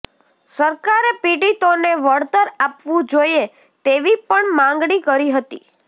સરકારે પીડિતોને વળતર આપવું જોઇએ તેવી પણ માગણી કરી હતી